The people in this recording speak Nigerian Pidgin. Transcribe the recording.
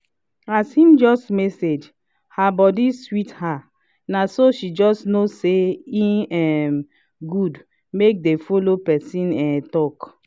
as him just message her body sweet her na so she know say e um good make dey follow person um talk